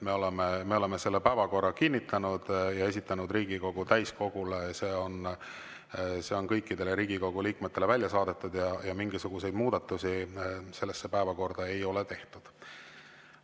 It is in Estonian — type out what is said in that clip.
Me oleme selle päevakorra kinnitanud ja esitanud Riigikogu täiskogule, see on kõikidele Riigikogu liikmetele välja saadetud ja mingisuguseid muudatusi sellesse päevakorda ei ole tehtud.